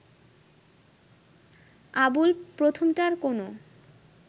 আবুল প্রথমটার কোনো